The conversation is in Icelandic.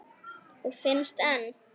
Og finnst enn.